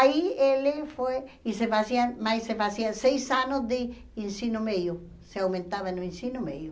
Aí ele foi e se fazia... mais se fazia seis anos de ensino médio, se aumentava no ensino meio.